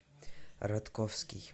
ратковский